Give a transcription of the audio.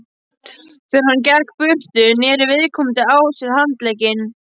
Þegar hann gekk burtu, neri viðkomandi á sér handlegginn.